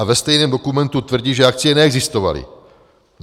A ve stejném dokumentu tvrdí, že akcie neexistovaly.